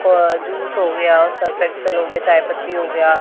का जूस हो गया सर्फ एक्सल हो गया चाय पत्ती हो गया--